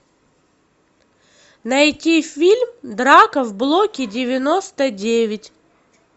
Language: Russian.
найти фильм драка в блоке девяносто девять